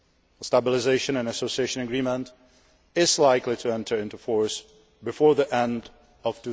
The stabilisation and association agreement is likely to enter into force before the end